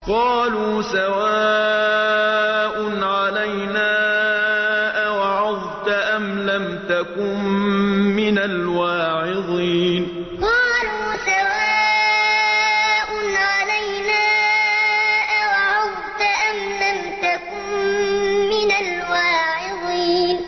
قَالُوا سَوَاءٌ عَلَيْنَا أَوَعَظْتَ أَمْ لَمْ تَكُن مِّنَ الْوَاعِظِينَ قَالُوا سَوَاءٌ عَلَيْنَا أَوَعَظْتَ أَمْ لَمْ تَكُن مِّنَ الْوَاعِظِينَ